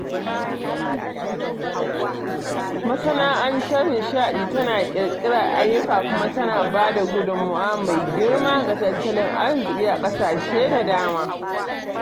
Masana'antar nishadi tana ƙirƙirar ayyuka kuma tana ba da gudunmawa mai girma ga tattalin arziki a ƙasashe da dama.